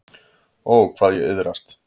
Ó, hvað ég iðraðist.